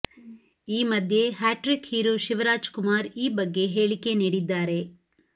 ಈ ಮಧ್ಯೆ hat trick hero Shivraj Kumar ಈ ಬಗ್ಗೆ ಹೇಳಿಕೆ ನೀಡಿದ್ದಾರೆ